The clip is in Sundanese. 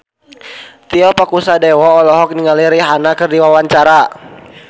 Tio Pakusadewo olohok ningali Rihanna keur diwawancara